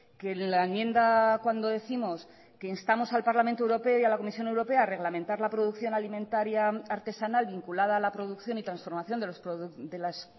que la enmienda cuando décimos que instamos al parlamento europeo y a la comisión europea a reglamentar la producción alimentaría artesanal vinculada a la producción y transformación de las